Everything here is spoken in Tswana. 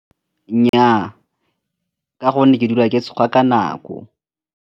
Nnyaa, ka gonne ke dula ke tsoga ka nako.